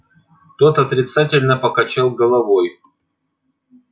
тот отрицательно покачал головой